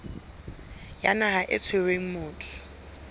ya naha e tshwereng motho